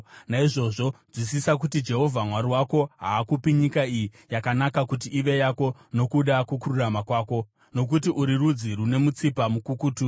Naizvozvo nzwisisa kuti Jehovha Mwari wako haakupi nyika iyi yakanaka kuti ive yako nokuda kwokururama kwako, nokuti uri rudzi rune mutsipa mukukutu.